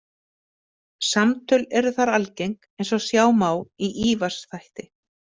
Samtöl eru þar algeng, eins og sjá má í Ívars þætti.